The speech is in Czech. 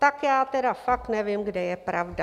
Tak já tedy fakt nevím, kde je pravda.